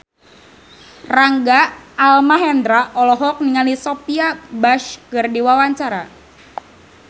Rangga Almahendra olohok ningali Sophia Bush keur diwawancara